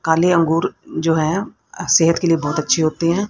काले अंगूर जो हैं सेहत के लिए बहुत अच्छे होते हैं।